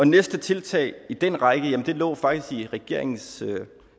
næste tiltag i den række lå faktisk i regeringens